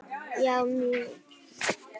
Já, mjög